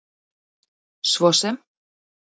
svo sem